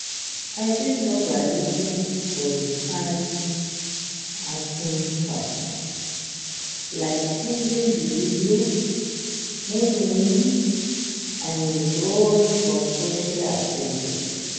I fit know by looking for di signs and symptoms, like changes in behavior, moodswings and withdrawal from social activities.